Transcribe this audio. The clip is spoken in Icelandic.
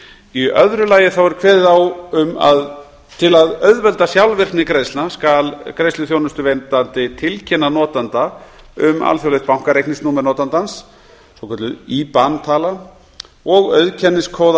í öðru lagi er kveðið á um að til að auðvelda sjálfvirkni greiðslna skuli greiðsluþjónustuveitandi tilkynna notanda um alþjóðlegt bankareikningsnúmer notandans og auðkenniskóða